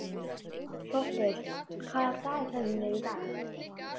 Þróttur, hvað er á dagatalinu í dag?